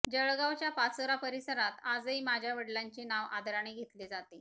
जळगावच्या पाचोरा परिसरात आजही माझ्या वडिलांचे नाव आदराने घेतले जाते